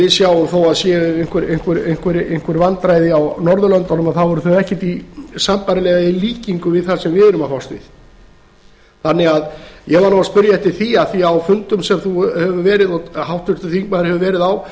við sjáum að þó að það séu einhver vandræði á norðurlöndunum þá eru þau ekkert sambærileg í líkingu við það sem við erum að fást við ég var að spyrja eftir því af því að á fundum sem háttvirtur þingmaður hefur verið á